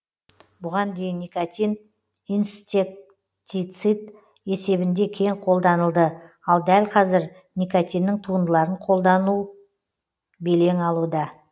бұған дейін никотин инсектицид есебінде кең қолданылды ал дәл қазір никотинның туындыларын қолданылу белең алуда